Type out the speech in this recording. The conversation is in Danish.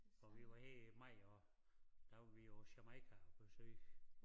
Og vi har her i maj også der var vi på Jamaica at besøge